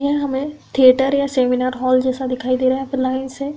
यह हमें थिएटर या सेमिनार हॉल जैसा दिखाई दे रहा हैं। यहाँ पे लाइन से --